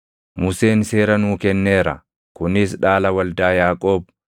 Museen seera nuu kenneera; kunis dhaala waldaa Yaaqoob.